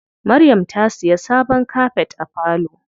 Maryam ta siya sabon kafet wa falo.